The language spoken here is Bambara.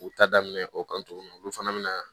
U ta daminɛ o kan tuguni olu fana bɛ na